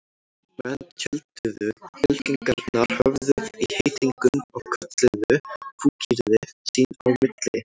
Menn tjölduðu, fylkingarnar höfðu í heitingum og kölluðu fúkyrði sín á milli.